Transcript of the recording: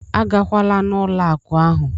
A gakwala n'ụlọ akụ ahụ!